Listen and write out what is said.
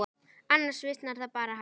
Annars visnar það bara, ha.